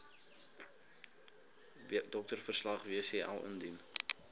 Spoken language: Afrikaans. doktersverslag wcl indien